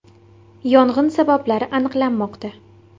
Yong‘in sabablari aniqlanmoqda.